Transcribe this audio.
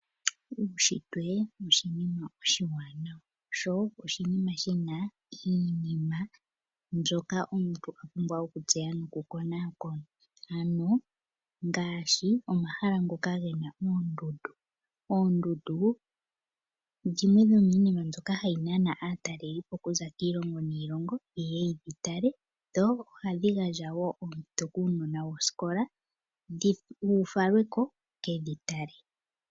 Uushitwe oshinima oshi wanawa no oshinima shina iinima mbyoka omuntu apumbwa oku tseya noku konakona ngashi omahala ngoka gena oondundu. Oondundu dhimwe dhominima mbyoka hayi nana aatalelipo oku za kiilongo niilongo ye ye yatale, dho ohadhi gandja wo oompito kuunona woskola wufalweko wuke dhi tale.